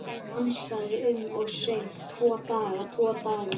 Hann dansaði um og söng: Tvo daga, tvo daga